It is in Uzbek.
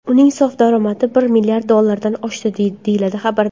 Uning sof daromadi bir milliard dollardan oshdi”, deyiladi xabarda.